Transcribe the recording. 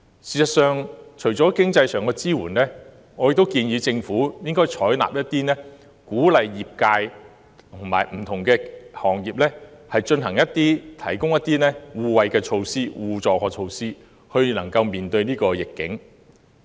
事實上，除了經濟上的支援，我亦建議政府應採納建議，鼓勵不同行業之間提供一些互惠互助的措施，以應對逆境。